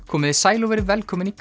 komiði sæl og verið velkomin í